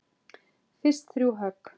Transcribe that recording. Fyrst þrjú högg.